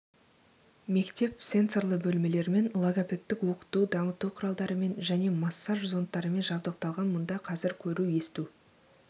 мектеп сенсорлы бөлмелермен логопедтік оқыту дамыту құралдарымен және массаж зондтарымен жабдықталған мұнда қазір көру есту